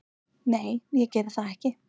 Nei, ég geri það ekki